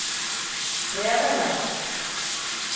krevende